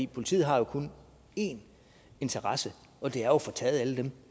politiet har jo kun én interesse og det er jo at få taget alle dem